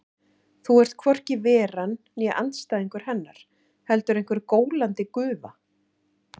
Þú ert hvorki Veran né andstæðingur Hennar, heldur einhver gólandi gufa.